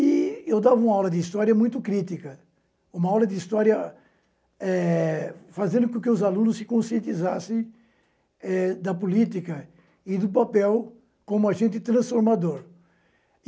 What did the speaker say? E eu dava uma aula de história muito crítica, uma aula de história eh fazendo com que os alunos se conscientizassem eh da política e do papel como agente transformador.